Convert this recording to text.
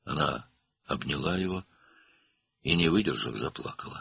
O, onu qucaqladı və dözməyib ağladı.